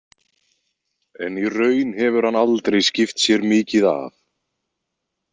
En í raun hefur hann aldrei skipt sér mikið af.